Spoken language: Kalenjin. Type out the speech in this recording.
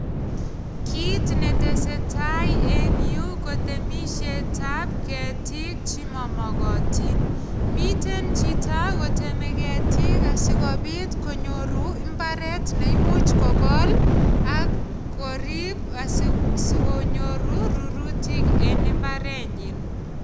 Kit ne tesetai eng yu kotemisietab ketiik che mamagatin. Miten chito koteme ketiik asigopit konyoru imbaret ne imuch kogol ak korip asigonyoru rurutik en imbarenyin.